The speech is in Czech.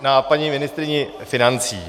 Na paní ministryni financí.